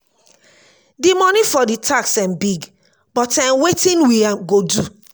the money for the tax um big but um wetin we um go do?